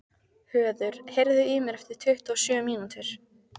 Höður, heyrðu í mér eftir tuttugu og sjö mínútur.